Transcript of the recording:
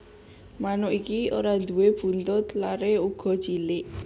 Manuk iki ora nduwé buntut lare uga cilik